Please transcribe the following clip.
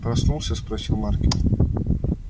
проснулся спросил маркин